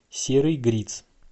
серый гриц